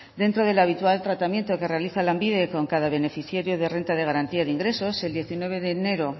dentro del habitual tratamiento que realiza lanbide con cada beneficiario de renta de garantía de ingresos el diecinueve de enero